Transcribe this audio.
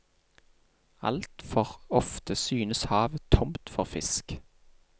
Altfor ofte synes havet tomt for fisk.